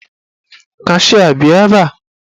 Kashịa bịa ebe!